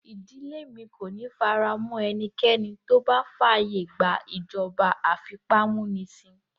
Ìdílé mi kò ní faramọ́ ẹnikẹ́ni tó bá fàyè gba ìjọba afipámúnisìn